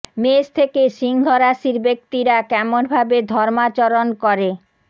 মেষ থেকে সিংহ রাশির ব্যক্তিরা কেমন ভাবে ধর্মাচরণ করে